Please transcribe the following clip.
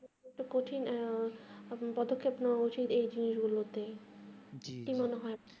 কঠিন পদক্ষেপ নেওয়া উচিত ওই জিনিস গুলোতে